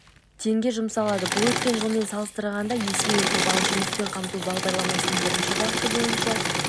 теңге жұмсалады бұл өткен жылмен салыстырғанда есеге көп ал жұмыспен қамту бағдарламасының бірінші бағыты бойынша